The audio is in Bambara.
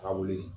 Ka wuli